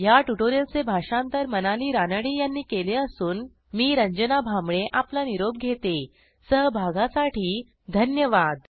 ह्या ट्युटोरियलचे भाषांतर मनाली रानडे यांनी केले असून मी आपला निरोप घेते160सहभागासाठी धन्यवाद